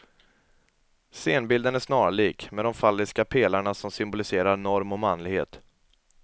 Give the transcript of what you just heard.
Scenbilden är snarlik, med de falliska pelarna som symboliserar norm och manlighet.